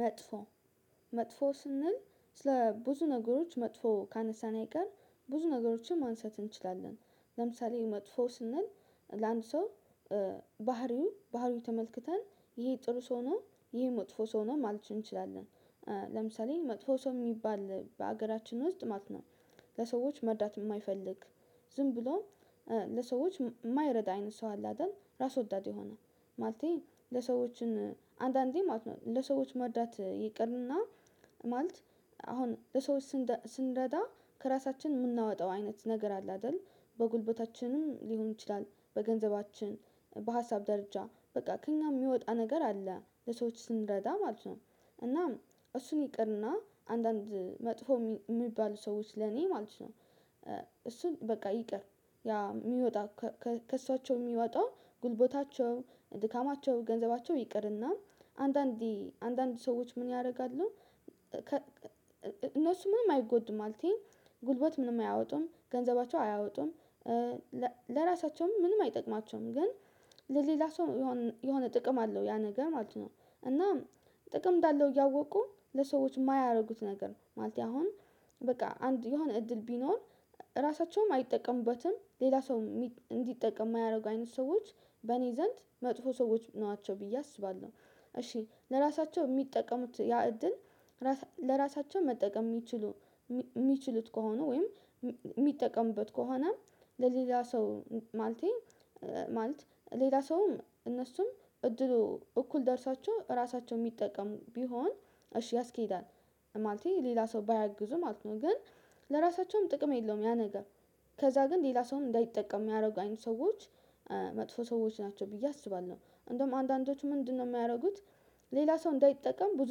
መጥፎ መጥፎ ስንል ስለ ብዙ ነገሮች መጥፎ ካነሳን አይቀር ብዙ ነገሮችን ማንሳት እንችላለን ለምሳሌ መጥፎ ስንል ለአንድ ሰው ባህሪው ባህሪው ተመልክተን ይሄ ጥሩ ሰው ነው ይሄ መጥፎ ሰው ነው ማለት እንችላለን። ለምሳሌ መጥፎ ሰው የሚባል በሀገራችን ዉስጥ ነው። ለሰዎች መርዳት የማይፈልግ ዝም ብሎ ለሰዎች የማይረዳ አይነት ሰው አለ አይደል ራስ ወዳድ ይሆናል። ማለቴ ለሰዎችን አንዳንዴ ማለት ነው ለሰዎች መርዳት ይቅርና ማለት አሁን ለሰዎች ስንረዳ ከራሳችን የምናወጣው አይነት ነገር አለ አይደል በጉልበታችንም ሊሆን ይችላል በገንዘባችን በሀሳብ ደረጃ በቃ ከእኛ የሚወጣ ነገር አለ ለሰዎች ስንረዳ ማለት ነው። እናም እሱን ይቅርና አንዳንድ መጥፎ የሚባሉ ሰዎች ለኔ ማለት ነው። እሱን በቃ ይቅር ያ የሚወጣ ከእሷቸው የሚወጣ ጉልበታቸው ድካማቸው ገንዘባቸው ይቅርና አንዳንዴ አንዳንድ ሰዎች ምን ያደርጋሉ? እነሱ ምንም አይጎዱም ማለቴ ጉልበት ምንም አያወጡም ገንዘባቸው አያወጡም። ለራሳቸውም ምንም አይጠቅማቸውም ግን ለሌላ ሰው የሆነ የሆነ ጥቅም አለው ያ ነገር ማለት ነው። እና ጥቅም እንዳለው እያወቁ ለሰዎች የማያረጉት ነገር ነው ማለት አሁን በቃ አንድ የሆነ እድል ቢኖር ራሳቸውም አይጠቀሙበትም ሌላ ሰው እንዲጠቀም የማያደርጉ አይነት ሰዎች በእኔ ዘንድ መጥፎ ሰዎች ነዋቸው ብዬ አስባለሁ። እሺ ለራሳቸው የሚጠቀሙት ያ እድል ለራሳቸው መጠቀም የሚችሉ ሚችሉት ከሆነ ወይም የሚጠቀሙበት ከሆነ ለሌላ ሰው ማለቴ ማልት ሌላ ሰውም እነሱም እድሉ እኩል ደርሷቸው ራሳቸው የሚጠቀሙ ቢሆን እሺ ያስኬዳል። ማለቴ ሌላ ሰው ባያግዙ ማለት ነው ግን ለራሳቸውም ጥቅም የለውም ያ ነገር። ከዛ ግን ሌላ ሰውም እንዳይጠቀም የሚያደርጉ አይነት ሰዎች መጥፎ ሰዎች ናቸው ብዬ አስባለሁ። እንደውም አንዳንዶቹ ምንድነው የሚያረጉት? ሌላ ሰው እንዳይጠቀም ብዙ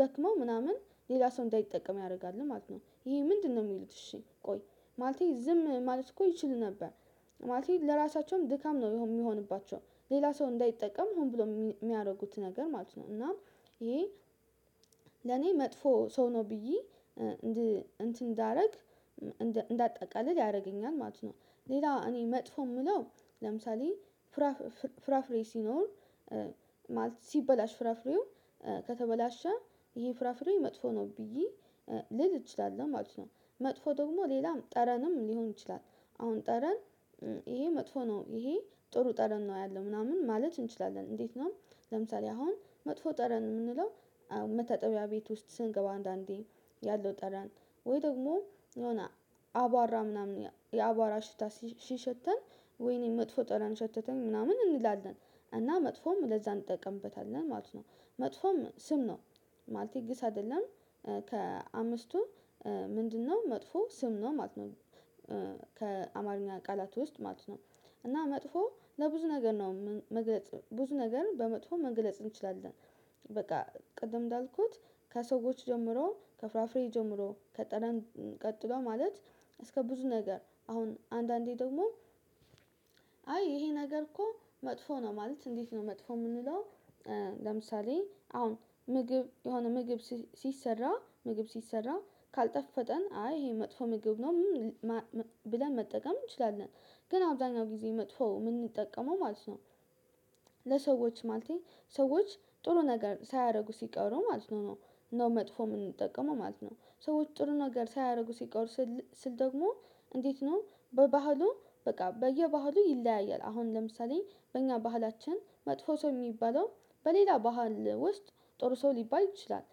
ደክመው ምናምን ሌላ ሰው እንዳይጠቀም ያረጋሉ ማለት ነው። ይሄ ምንድነው የሚሉት እሺ ቆይ ማለቴ ዝም ማለት እኮ ይችሉ ነበር። ማለቴ ለራሳቸውም ድካም ነው የሚሆንባቸው ሌላ ሰው እንዳይጠቀም ሆን ብሎ የሚያደርጉት ነገር ማለት ነው። እና ይሄ ለኔ መጥፎ ሰው ነው ብዬ እንትን እንዳረግ እንዳጠቃልል ያደርገኛል ማለት ነው። ሌላ እኔ መጥፎ የምለው ለምሳሌ ፍራፍ ፍራፍሬ ሲኖር ማለት ሲበላሽ ፍራፍሬው ከተበላሸ ይሄ ፍራፍሬ መጥፎ ነው ብዬ ልል እችላለሁ ማለት ነው። መጥፎ ደግሞ ሌላም ጠረንም ሊሆን ይችላል አሁን ጠረን ይሄ መጥፎ ነው ይሄ ጥሩ ጠረን ነው ያለው ምናምን ማለት እንችላለን እንዴት ነው? ለምሳሌ አሁን መጥፎ ጠረን የምንለው መታጠቢያ ቤት ውስጥ ስንገባ አንዳንዴ ያለው ጠረን ወይ ደግሞ የሆነ አቧራ ምናምን የአቧራ ሽታ ሲሸተን ወይኔ መጥፎ ጠረን ሸተተን ምናምን እንላለን እና መጥፎም ለዛ እንጠቀምበታለን ማለት ነው። መጥፎም ስም ነው ማለቴ ግስ አይደለም። ከአምስቱ ምንድነው መጥፎ ስም ነው ማለት ነው። ከአማርኛ ቃላት ውስጥ ማለት ነው እና መጥፎ ለብዙ ነገር ነው መግለጽ ብዙ ነገር በመጥፎ መግለጽ እንችላለን። በቃ ቅድም እንዳልኩት ከሰዎች ጀምሮ ከፍራፍሬ ጀምሮ ከጠረን ቀጥሎ ማለት እስከ ብዙ ነገር አሁን አንዳንዴ ደግሞ አይ ይሄ ነገር እኮ መጥፎ ነው። ማለት እንዴት ነው መጥፎ የምንለው? ለምሳሌ አሁን ምግብ የሆነ ምግብ ሲሰራ ምግብ ሲሰራ ካልጣፈጠን አይ ይሄ መጥፎ ምግብ ነው ብለን መጠቀም እንችላለን። ግን አብዛኛው ጊዜ መጥፎ የምንጠቀመው ማለት ነው። ለሰዎች ማለቴ ሰዎች ጥሩ ነገር ሳያደርጉ ሲቀሩ ማለት ነው ነው ነው መጥፎ የምንጠቀመው ማለት ነው። ሰዎች ጥሩ ነገር ሳያረጉ ሲቀሩ ስል ደግሞ እንዴት ነው በባህሉ በቃ በየባህሉ ይለያያል አሁን ለምሳሌ በእኛ ባህላችን መጥፎ ሰው የሚባለው በሌላ ባህል ውስጥ ጥሩ ሰው ሊባል ይችላል።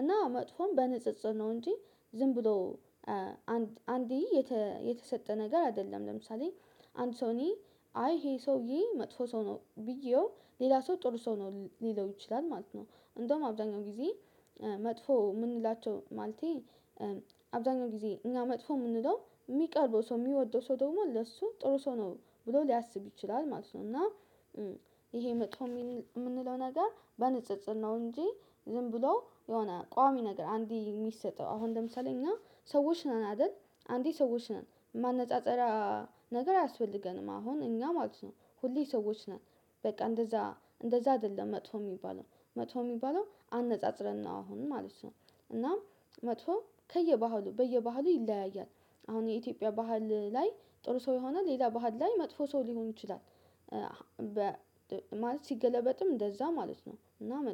እና መጥፎም በንጽጽር ነው እንጂ ዝም ብሎ አንዴ የተሰጠ ነገር አይደለም። ለምሳሌ አንቶኒ አይ ይሄ ሰውዬ መጥፎ ሰው ነው ብዬው ሌላ ሰው ጥሩ ሰው ነው ሊለው ይችላል ማለት ነው። እንደውም አብዛኛው ጊዜ መጥፎ የምንላቸው ማለቴ አብዛኛው ጊዜ እኛ መጥፎ የምንለው የሚቀርበው ሰው የሚወደው ሰው ደግሞ ለሱ ጥሩ ሰው ነው ብሎ ሊያስብ ይችላል ማለት ነው። እና ይሄ መጥፎ የምንለው ነገር በንጽጽር ነው። እንጂ ዝም ብሎ የሆነ ቋሚ ነገር አንዴ የሚሰጠው አሁን ለምሳሌ እና ሰዎች ነን አይደል አንዴ ሰዎች ነን ማነጻጸሪያ ነገር አያስፈልገንም አሁን እኛ ማለት ነው። ሁሌ ሰዎች ነን በቃ እንደዛ እንደዛ አይደለም መጥፎ የሚባለው መጥፎ የሚባለው አነጻጽረን ነው አሁን ማለት ነው። እናም መጥፎ ከየባህሉ በየባህሉ ይለያያል። አሁን የኢትዮጵያ ባህል ላይ ጥሩ ሰው ይሆናል ሌላ ባህል ላይ መጥፎ ሰው ሊሆን ይችላል። ማለት ሲገለበጥም እንደዛ ማለት ነው። እና መጥ